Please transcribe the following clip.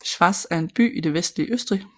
Schwaz er en by i det vestlige Østrig